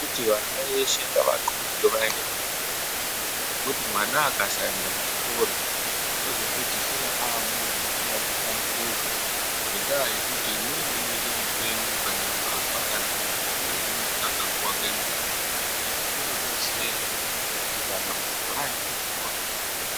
Tiri kuti vana veshe ngatxubwe vaende kuzvikora ngekuti mwana akasaenda kuchikora unozopedzisira amuntu usina kuhlamburuka. Ngendaa yekuti umweni unoita mupengo kana mbavha kana kumwe zvinodhaka nguva ngenguva. Izvi zvinodetsera kuti kana muntu aende kuchikora.